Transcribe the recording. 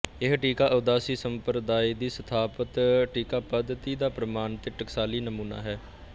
ਇਹ ਟੀਕਾ ਉਦਾਸੀ ਸੰਪਰਦਾਇ ਦੀ ਸਥਾਪਤ ਟੀਕਾਪੱਧਤੀ ਦਾ ਪ੍ਰਮਾਣਿਕ ਤੇ ਟਕਸਾਲੀ ਨਮੂਨਾ ਹੈ